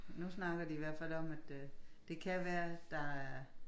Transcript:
Nu snakker de i hvert fald om at øh det kan være at der